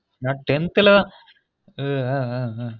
நான் ten th ல அவ் அவ்வு ஆ ஆஹ்